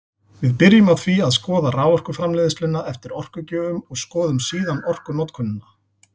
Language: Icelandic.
Við byrjum á því að skoða raforkuframleiðsluna eftir orkugjöfum og skoðum síðan orkunotkunina.